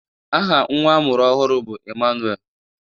Aha nnwa a mụrụ ọhụrụ bụ Emmanuel.